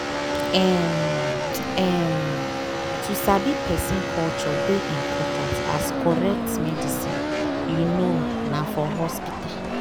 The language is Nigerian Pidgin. um um to sabi person culture dey important as correct medicine you know na for hospital.